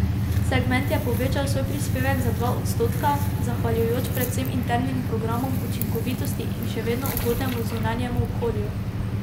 Segment je povečal svoj prispevek za dva odstotka, zahvaljujoč predvsem internim programom učinkovitosti in še vedno ugodnemu zunanjemu okolju.